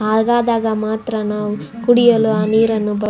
ಹಾಗಾದಾಗ ಮಾತ್ರ ನಾವು ಕುಡಿಯಲು ಆ ನೀರನ್ನು ಬಾ --